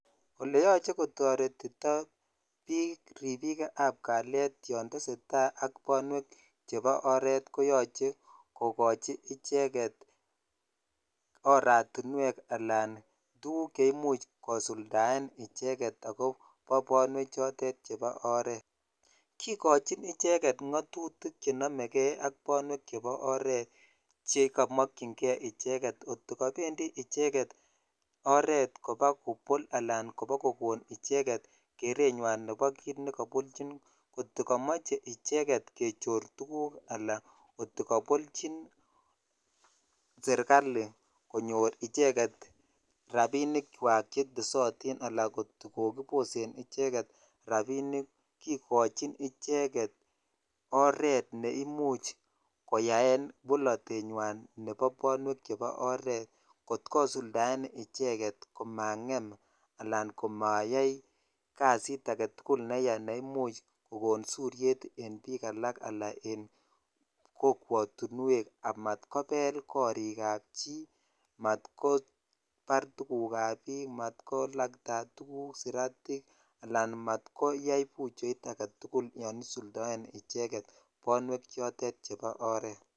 ole yoche kotoretito biik ripikab kaliet yoon tesetaa ak bongonutik chepo oret koyoche kokochi icheget oratinuek alan tuguk cheimuch kosuldaen icheget akobo ponwek choton chebo oret kikochin icheget ngo'tutik chenomegee ak bonwen chepo oret chekomokyin kee icheget ngotko ko pendi icheget oret kobo kobol anan kobo kokon icheget keretnywan nepo kit nekopolchin kotokomoche icheget kechor tuguk alan ngotkopoljin sirkali konyor icheget rabinikwak chetesotin alan kokiposen icheget rabinik kikochin icheget oret neimuch koyaen boletenywan nepo bonwek chepo oret kot kosuldaen icheget komang'em alan komayai kazit agetugul neya neimuch kogon suriet en bik alan kokwotinuek amat kobel korik ab chii amat kobar tuguk ab biik mat kolakta tuguk saratik alan mat koyai buchoit agetugul yoon isuldoen icheget bonwek chotet chepo oret.